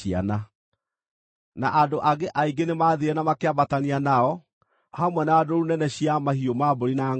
Na andũ angĩ aingĩ nĩmathiire na makĩambatania nao, hamwe na ndũũru nene cia mahiũ ma mbũri na ngʼombe.